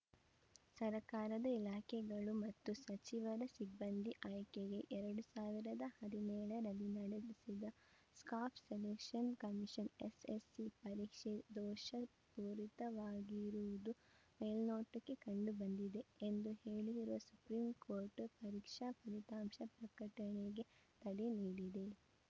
ಸರ್ಕಾರದ ಇಲಾಖೆಗಳು ಮತ್ತು ಸಚಿವರ ಸಿಬ್ಬಂದಿ ಆಯ್ಕೆಗೆ ಎರಡ್ ಸಾವಿರದ ಹದಿನೇಳ ರಲ್ಲಿ ನಡೆಸಿದ ಸ್ಟಾಫ್‌ ಸೆಲೆಕ್ಷನ್‌ ಕಮಿಶನ್‌ ಎಸ್‌ಎಸ್‌ಸಿ ಪರೀಕ್ಷೆ ದೋಷ ಪೂರಿತವಾಗಿರುವುದು ಮೇಲ್ನೋಟಕ್ಕೆ ಕಂಡುಬಂದಿದೆ ಎಂದು ಹೇಳಿರುವ ಸುಪ್ರೀಂಕೋರ್ಟ್‌ ಪರೀಕ್ಷಾ ಫಲಿತಾಂಶ ಪ್ರಕಟಣೆಗೆ ತಡೆ ನೀಡಿದೆ